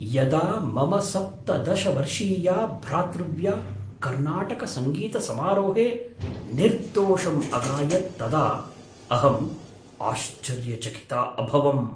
यदा मम सप्तदश वर्षीया भ्रातृव्या कर्नाटकसङ्गीतसमारोहे निर्दोषम् अगायत् तदा अहम् आश्चर्यचकिता अभवम्।